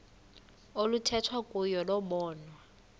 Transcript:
oluthethwa kuyo lobonwa